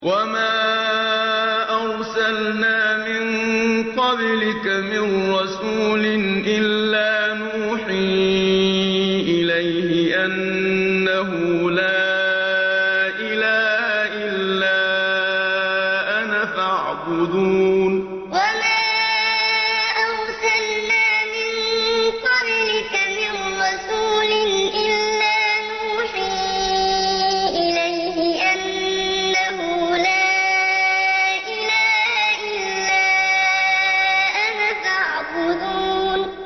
وَمَا أَرْسَلْنَا مِن قَبْلِكَ مِن رَّسُولٍ إِلَّا نُوحِي إِلَيْهِ أَنَّهُ لَا إِلَٰهَ إِلَّا أَنَا فَاعْبُدُونِ وَمَا أَرْسَلْنَا مِن قَبْلِكَ مِن رَّسُولٍ إِلَّا نُوحِي إِلَيْهِ أَنَّهُ لَا إِلَٰهَ إِلَّا أَنَا فَاعْبُدُونِ